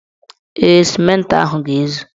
Ee, sịmentị ahụ ga-ezu.